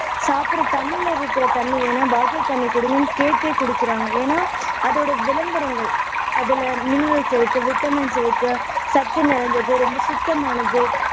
சாப்பிடுற tumbler ல இருக்கிற தண்ணி வேண்டாம் bottle தண்ணி குடுங்கன்னு கேட்டே குடிக்கிறாங்க ஏன்னா அதோட விளம்பரங்கள் அதுல minerals இருக்கு vitamins இருக்கு சத்து நிறைஞ்சது ரொம்ப சுத்தமானது